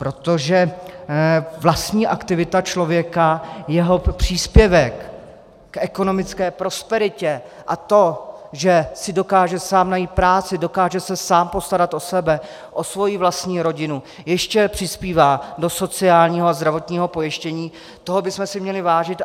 Protože vlastní aktivity člověka, jeho příspěvku k ekonomické prosperitě a to, že si dokáže sám najít práci, dokáže se sám postarat o sebe, o svoji vlastní rodinu, ještě přispívá do sociálního a zdravotního pojištění, toho bychom si měli vážit.